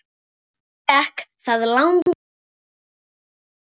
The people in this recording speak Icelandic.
Þannig gekk það langa stund.